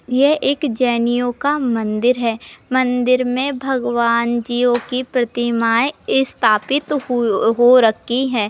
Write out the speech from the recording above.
यह एक जैनियों का मंदिर है। मंदिर में भगवानजियो की प्रतिमाये स्थापित हुई हो रखी हैं।